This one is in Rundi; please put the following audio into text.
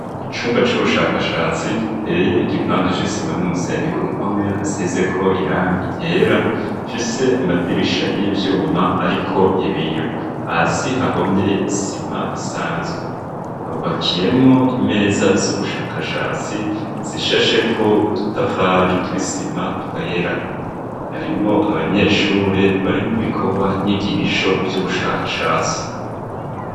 Icumba c'ubushakashatsi giteye igipande c'isima n'umusenyi ku mpome hasizeko irangi ryera fise amadirisha y'ivyuma, ariko ibiyo hasi hahomye isima isanzwe, habubakiyemwo imeza z'ubushakashatsi sishasheko udutafari tw'isima twera, harimwo abanyeshure bari mu bikorwa ny'igigisho vy'ubushakashatsi.